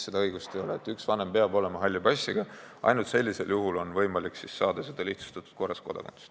Üks vanem peab olema halli passiga, ainult sellisel juhul on võimalik saada kodakondsus lihtsustatud korras.